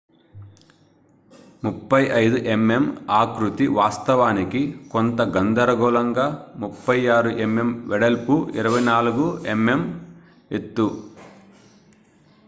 35mm ఆకృతి వాస్తవానికి కొంత గందరగోళంగా 36mm వెడల్పు 24mm ఎత్తు